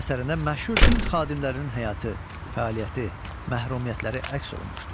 Əsərində məşhur din xadimlərinin həyatı, fəaliyyəti, məhrumiyyətləri əks olunmuşdur.